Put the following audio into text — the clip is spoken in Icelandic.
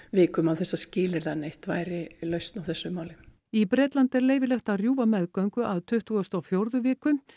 vikum án þess að skilyrða neitt væri lausn á þessu máli í Bretlandi er leyfilegt að rjúfa meðgöngu að tuttugustu og fjórðu viku